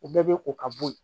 U bɛɛ bɛ ko ka bɔ yen